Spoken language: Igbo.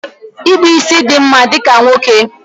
Ịkpụ ísí dị mma dịka nwoke